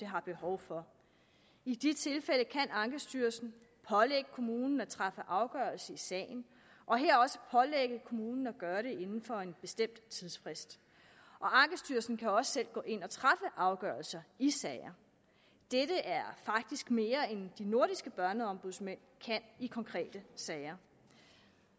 har behov for i de tilfælde kan ankestyrelsen pålægge kommunen at træffe afgørelse i sagen og her også pålægge kommunen at gøre det inden for en bestemt tidsfrist og ankestyrelsen kan også selv gå ind og træffe afgørelser i sager dette er faktisk mere end de nordiske børneombudsmænd kan i konkrete sager